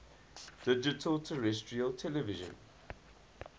digital terrestrial television